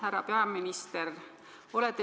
Härra peaminister!